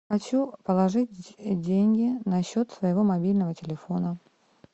хочу положить деньги на счет своего мобильного телефона